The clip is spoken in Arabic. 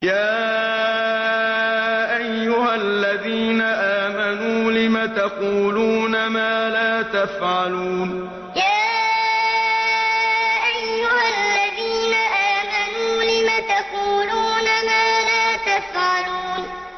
يَا أَيُّهَا الَّذِينَ آمَنُوا لِمَ تَقُولُونَ مَا لَا تَفْعَلُونَ يَا أَيُّهَا الَّذِينَ آمَنُوا لِمَ تَقُولُونَ مَا لَا تَفْعَلُونَ